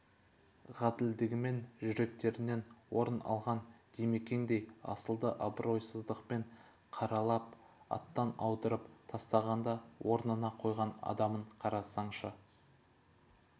ғаділдігімен жүректерінен орын алған димекеңдей асылды абыройсыздықпен қаралап аттан аударып тастағанда орнына қойған адамына қарасаңшы